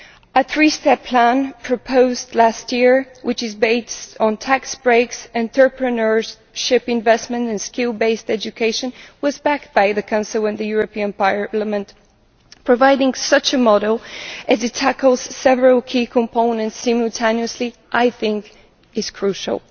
A three step plan proposed last year which is based on tax breaks, entrepreneurship investment and skill based education was backed by the Council and the European Parliament. Providing such a model, as it tackles several key components simultaneously, is crucial.